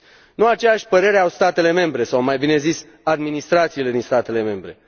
Nu aceeași părere au statele membre, sau mai bine zis administrațiile din statele membre.